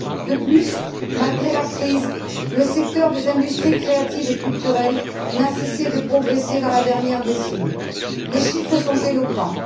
De plus, malgré la crise, le secteur des industries créatives et culturelles n'a cessé de progresser dans la dernière décennie. Les chiffres sont éloquents.